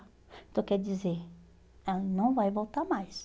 Então quer dizer, ela não vai voltar mais.